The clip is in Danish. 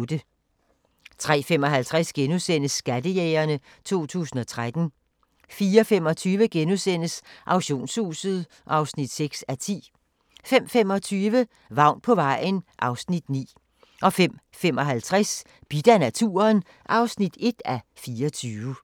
03:55: Skattejægerne 2013 * 04:25: Auktionshuset (6:10)* 05:25: Vagn på vejen (Afs. 9) 05:55: Bidt af naturen (1:24)